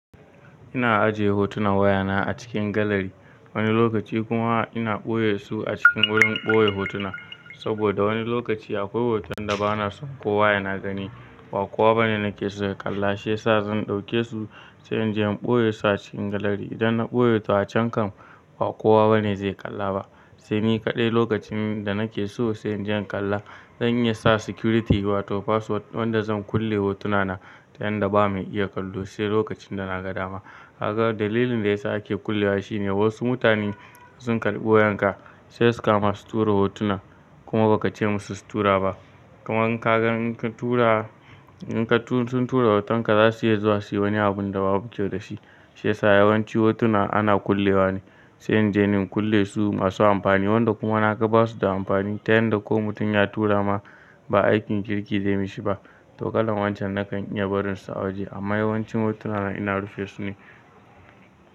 Ina ajiye hotunan wayana a cikin galari. Wani lokaci kuma ina ɓoye su a cikin wurin ɓoye hotuna. Saboda wani lokaci akwai hoton da bana son kowa yana gani. Ba kowa bane nakeso ya kalla shiyasa zan ɗauke su sai inje in ɓoye su a cikin galari. Idan na ɓoye to acan kan ba kowa bane zai kalla ba. Sai ni kaɗai lokacin da nake so sai inje in kalla. Zan iyasa security wato password wanda zan kulle hotunana ta yanda ba mai iya kallo sai lokacin da na ga dama. Kaga dalilin da yasa ake kullewa shine wasu mutane sun kalɓi wayanka sai suka ma su tura hotuna kuma bakace musu su tura ba. Kuma in ka gan in ka tura, in ka tu suntura hotonka zasu iya zuwa suyi wani abun da babu kyau dashi. Shiyasa yawanci hotuna ana kullewa ne. Sai inje in kulle su in masu amfani wanda kuma naka basu da amfani ta yanda ko mutum ya tura ma ba aikin kirki zai mishi ba. Tokalan wancen nakan iya barin su a waje. Amma yawancin hotunana ina rufe su ne.